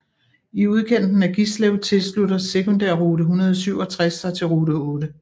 I udkanten af Gislev tilslutter sekundærrute 167 sig til rute 8